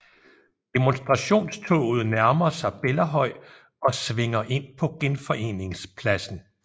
Demonstrationstoget nærmer sig Bellahøj og svinger ind på Genforeningspladsen